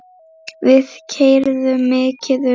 Við keyrðum mikið um.